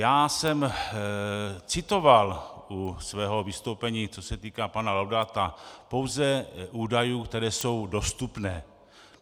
Já jsem citoval u svého vystoupení, co se týká pana Laudáta, pouze údaje, které jsou dostupné.